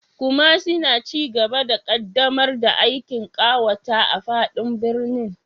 Kumasi na cigaba da ƙaddamar da aikin ƙawata a fadin birnin